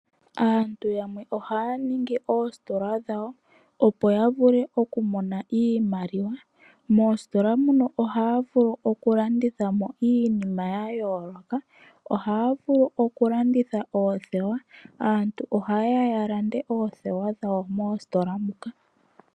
Aantu yamwe ohaya ningi oositola dhawo opo ya vule oku mona iimaliwa. Moositola muno ohaa vulu okulanditha mo iinima ya yooloka. Ohaya vulu okulanditha oothewa, aantu ohaye ya ya lande oothewa dhawo moositola muka.